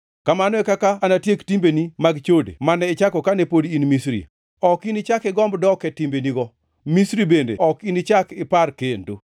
Kamano e kaka anatiek timbeni mag chode mane ichako kane pod in Misri. Ok inichak igomb dok e timbenigo, Misri bende ok inichak ipar kendo.